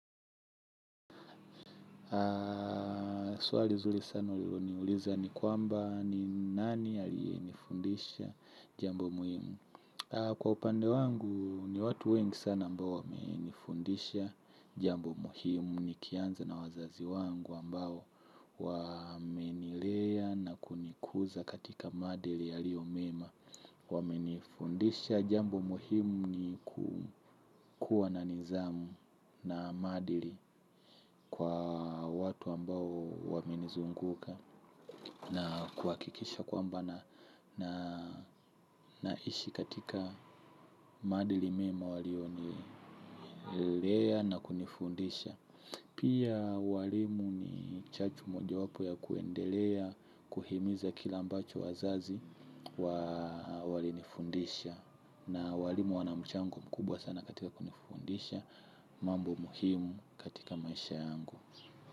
Swali zuli sana ulilo niuliza ni kwamba ni nani aliye nifundisha jambo muhimu. Kwa upande wangu ni watu wengi sana ambao wamenifundisha jambo muhimu. Nikianza na wazazi wangu ambao wamenilea na kunikuza katika maadili yaliomema waminifundisha jambo muhimu ni kukuwa na nizamu na maadili kwa watu ambao waminizunguka. Na kuakikisha kwamba naishi katika maadili mema walionilea na kunifundisha. Pia walimu ni chachu moja wapo ya kuendelea, kuhimiza kile ambacho wazazi walinifundisha. Na walimu wanamchango mkubwa sana katika kunifundisha mambo muhimu katika maisha yangu.